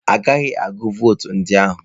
A gaghị agụ votu ndị ahụ.